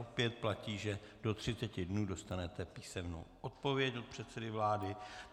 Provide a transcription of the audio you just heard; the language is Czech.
Opět platí, že do 30 dnů dostanete písemnou odpověď od předsedy vlády.